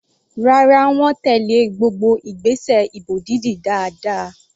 Rárá, wọ́n tèlé gbogbo ìgbésẹ̀ ìbò dídì dáadáa.